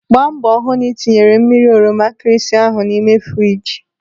Gbaa mbọ hụ na ị tinyere mmiri oroma nkịrịsị ahụ na friji.